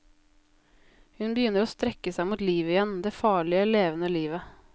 Hun begynner å strekke seg mot livet igjen, det farlige, levende livet.